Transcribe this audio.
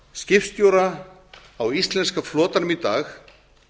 skipstjóra á íslenska flotanum í dag